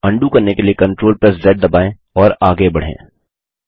undo करने के लिए Ctrl ज़ दबाएँ और आगे बढ़ें